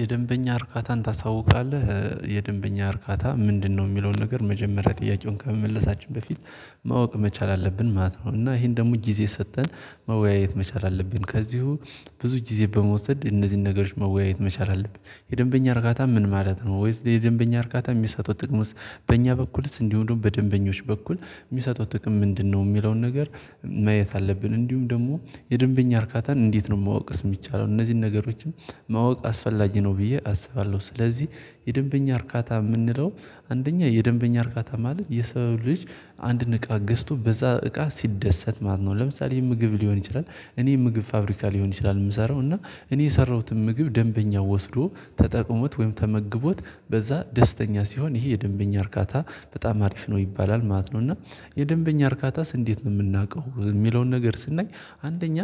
የደንበኛ እርካታን ታሳውቃለህ የደንበኛ እርካታ ምንድንነው የሚለውን ነገር መጀመሪያ ጥያቄውን ከመመለሳችን በፊት ማወቅ መቻል አለብን ማለት ነው። እና ይሄን ደግሞ ጊዜ ሰጥተን መወያየት መቻል አለብን ከዚሁ ብዙ ጊዜ በመውሰድ እነዚህን ነገሮች መወያየት መቻል አለብን የደንበኛ እርካታ ምን ማለት ነው? ወይስ የደንበኛ እርካታ የሚሰጠው ጥቅምስ? በእኛ በኩልስ እንዲሆኑም ደግሞ በደንበኞች በኩል የሚሰጠው ጥቅም ምንድንነው? የሚለውን ነገር ማየት አለብን እንዲሁም ደግሞ የደንበኛ እርካታን እንዴት ነው ማወቅስ የሚቻለው እነዚህን ነገሮችም ማወቅ አስፈላጊ ነው። ብዬ አስባለሁ ስለዚህ የደንበኛ እርካታ የምንለው አንደኛ የደንበኛ እርካታ ማለት የሰው ልጅ አንድን እቃ ገዝቶ በዛ እቃ ሲደሰት ማለት ነው። ለምሳሌ ምግብ ሊሆን ይችላል እኔ ምግብ ፋብሪካ ሊሆን ይችላል የምሰራው እና እኔ የሠራሁትን ምግብ ደንበኛው ወስዶ ተጠቅሞት ወይም ተመግቦት በዛ ደስተኛ ሲሆን ይሄ የደንበኛ እርካታ በጣም አሪፍ ነው ይባላል ማለት ነው። እና የደንበኛ እርካታስ እንዴት ነው የምናውቀው? የሚለውን ነገር ስናይ አንደኛ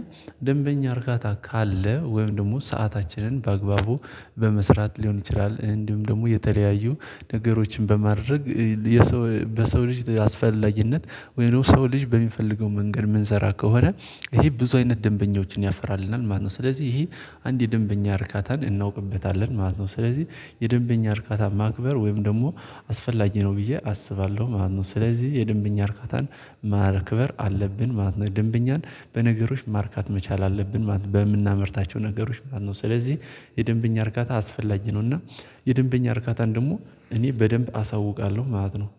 ደንበኛ እርካታ ካለ ወይም ደግሞ ሰአታችንን በአግባቡ በመስራት ሊሆን ይችላል እንዲሁም ደግሞ የተለያዩ ነገሮችን በማድረግ የሰው በሰው ልጅ አስፈለጊነት ወይም ደግሞ ሰው ልጅ በሚፈልገው መንገድ የምንሰራ ከሆነ ይሄ ብዙ አይነት ደንበኞችን ያፈራልናል ማለት ነው። ስለዚህ ይሄ አንድ የደንበኛ እርካታን እናውቅበታለን ማለት ነው። ስለዚህ የደንበኛ እርካታ ማክበር ወይም ደግሞ አስፈላጊ ነው ብዬ አስባለሁ ማለት ነው። ስለዚህ የደንበኛ እርካታን ማክበር አለብን ማለት ነው። ደንበኛን በነገሮች ማርካት መቻል አለብን ማለት በምናመርታቸው ነገሮች ማለት ነው። ስለዚህ የደንበኛ እርካታ አስፈላጊ ነውና የደንበኛ እርካታን ደግሞ እኔ በደንብ አሳውቃለሁ ማለት ነው